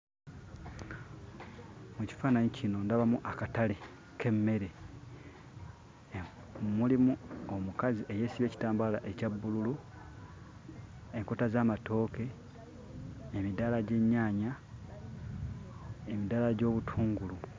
Mu kifaananyi kino ndabamu akatale k'emmere, mulimu omukazi eyeesibye ekitambaala ekya bbululu, enkota z'amatooke, emidaala gy'ennyanya, emidaala gy'obutungulu.